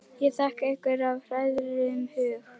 Ég þakka ykkur af hrærðum hug.